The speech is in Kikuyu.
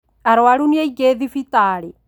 Arũaru nĩ aingĩ thibitarĩ